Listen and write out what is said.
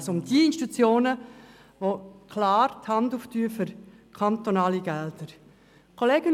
Es geht also um jene Institutionen, die klar die Hand für kantonale Gelder aufhalten.